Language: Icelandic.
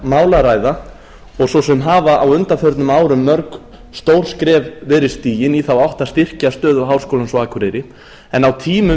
mál að ræða og svo sem hafa á undanförnum árum mörg stór skref verið stigin í þá átt að styrkja stöðu háskólans á akureyri en á tímum